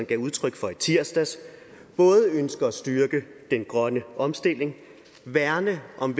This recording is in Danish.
gav udtryk for i tirsdags både ønsker at styrke den grønne omstilling værne om